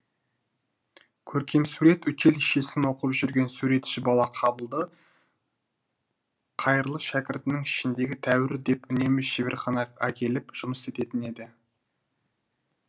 көркемсурет училищесін оқып жүрген суретші бала қабылды қайырлы шәкірттерінің ішіндегі тәуірі деп үнемі шеберхана әкеліп жұмыс істететін еді